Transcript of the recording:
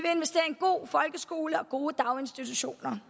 en god folkeskole og gode daginstitutioner